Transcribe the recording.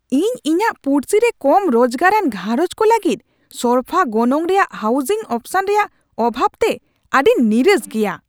ᱤᱧ ᱤᱧᱟᱹᱜ ᱯᱩᱲᱥᱤ ᱨᱮ ᱠᱚᱢ ᱨᱚᱡᱜᱟᱨᱟᱱ ᱜᱷᱟᱨᱚᱸᱡᱽ ᱠᱚ ᱞᱟᱹᱜᱤᱫ ᱥᱚᱨᱯᱷᱟ ᱜᱚᱱᱚᱝ ᱨᱮᱭᱟᱜ ᱦᱟᱣᱩᱡᱤᱝ ᱚᱯᱥᱚᱱ ᱮᱨᱭᱟᱜ ᱚᱵᱷᱟᱵ ᱛᱮ ᱟᱹᱰᱤᱧ ᱱᱤᱨᱟᱥ ᱜᱮᱭᱟ ᱾